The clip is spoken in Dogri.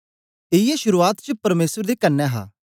इयै शुरुआत च परमेसर दे कन्ने हा